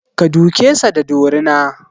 Ka duke sa da dorina!